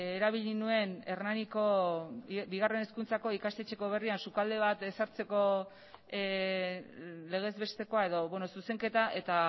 erabili nuen hernaniko bigarren hezkuntzako ikastetxe berrian sukalde bat ezartzeko legez bestekoa edo zuzenketa eta